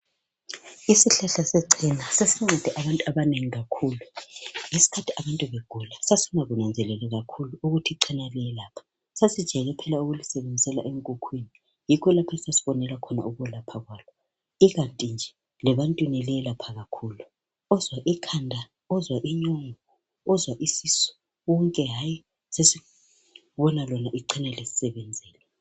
Isihlahla sechena sesincede abantu abanengi kakhulu. Ngesikhathi abantu begula sasingakunanzeleli kakhulu ukuthi ichena liyelapha. Sasijayele kuphela ukulisebenzisela enkukhwini yikho lapho esasibonela khona ukwelapha kwalo. Ikanti nje lebantwini liyelapha kakhulu. Ozwa ikhanda, ozwa inyongo, ozwa isisu konke hayi sesibona lona icena lisisebenzela.